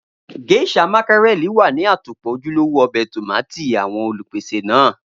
Geisha mákírẹ̀lì wà ní àtòpọ́ ojúlówó ọbẹ̀ tómátì àwọn Olùpèsè náà